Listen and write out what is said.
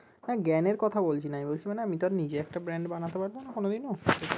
হ্যাঁ জ্ঞানের কথা বলছি না আমি বলছি মানে আমিতো নিজে একটা brand বানাতে পারবো না কোনো দিনও